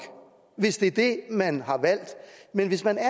hvis det er det man har valgt men hvis man er